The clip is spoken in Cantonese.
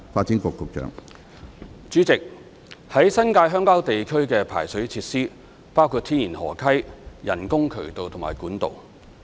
主席，於新界鄉郊地區的排水設施包括天然河溪、人工渠道及管道。